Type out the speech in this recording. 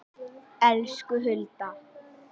Elsku Hulda.